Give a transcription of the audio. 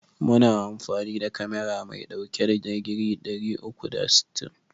Muna amfani da kamera mai ɗauke da digiri ɗari uku da sittin.